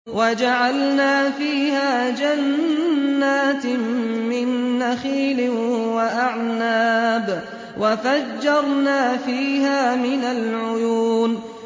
وَجَعَلْنَا فِيهَا جَنَّاتٍ مِّن نَّخِيلٍ وَأَعْنَابٍ وَفَجَّرْنَا فِيهَا مِنَ الْعُيُونِ